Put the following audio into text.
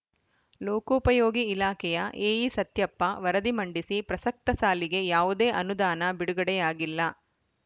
ಲೋಕೊಪಯೋಗಿ ಇಲಾಖೆಯ ಎಇ ಸತ್ಯಪ್ಪ ವರದಿ ಮಂಡಿಸಿ ಪ್ರಸಕ್ತ ಸಾಲಿಗೆ ಯಾವುದೇ ಅನುದಾನ ಬಿಡುಗಡೆಯಾಗಿಲ್ಲ